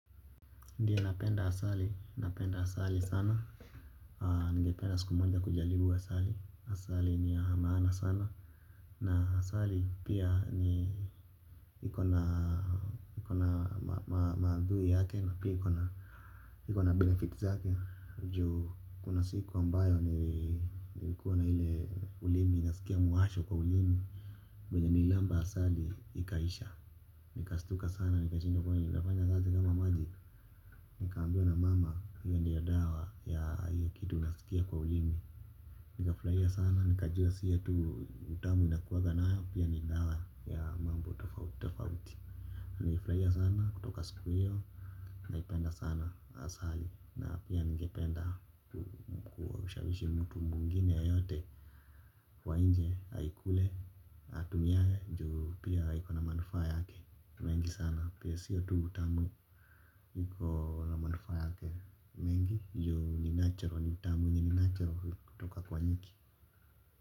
Ndiye napenda asali, napenda asali sana. Ningependa siku moja kujalibu asali. Asali ni ya maana sana. Na asali pia ni iko na iko na maadhui yake na pia iko na iko na benefit zake. Juu kuna siku ambayo nilikuwa na ile ulimi. Naskia muasho kwa ulimi venye nililamba asali. Ikaisha. Nikastuka sana. Nikashindwa kwani nafanya kazi kama maji. Nikaambiwa na mama. Hiyo ndiyo dawa ya kitu unasikia kwa ulimi. Nikafurahia sana nikajua siyo tu utamu inakuwaga nayo pia ni dawa ya mambo tofauti tofauti. Nilifurahia sana kutoka siku hiyo. Naipenda sana asali na pia ningependa kushawishi mtu mwingine yeyote wa nje aikule atumiange juu pia iko na manufaa yake mengi sana pia siyo tu utamu iko na manufaa yake mengi juu ni natural. Ni tamu ni natural. Kutoka kwa nyuki.